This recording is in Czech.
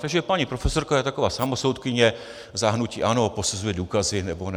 Takže paní profesorka je taková samosoudkyně za hnutí ANO, posuzuje důkazy nebo ne.